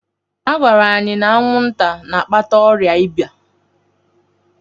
Agwara anyị na anwụnta na-akpata ọrịa iba.